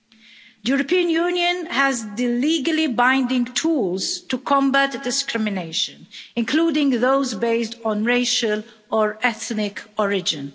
The European Union has the legally binding tools to combat discrimination, including those based on racial or ethnic origin.